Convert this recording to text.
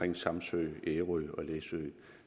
med samsø ærø og læsø